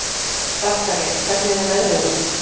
Dagfari, hvernig er veðrið úti?